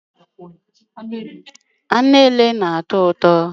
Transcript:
Anụ nke Antelope na-atọ ụtọ